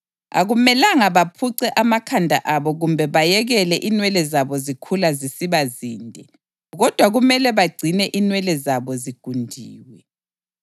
Akumelanga baphuce amakhanda abo kumbe bayekele inwele zabo zikhula zisiba zinde; kodwa kumele bagcine inwele zabo zigundiwe.